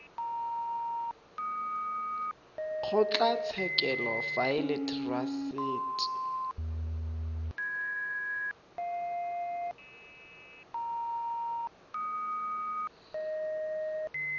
kgotlatshekelo fa e le therasete